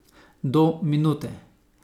Do minute.